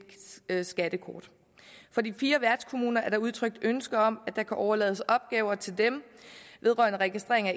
skattekort fra de fire værtskommuners side er der udtrykt ønske om at der kan overlades opgaver til dem vedrørende registrering